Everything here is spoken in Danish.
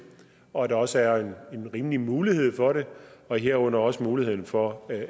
og at der også er en rimelig mulighed for det herunder også muligheden for